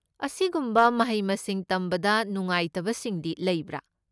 ꯑꯁꯤꯒꯨꯝꯕ ꯃꯍꯩ ꯃꯁꯤꯡ ꯇꯝꯕꯗ ꯅꯨꯡꯉꯥꯏꯇꯕꯁꯤꯡꯗꯤ ꯂꯩꯕ꯭ꯔꯥ?